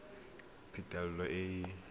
ga go na phitlho e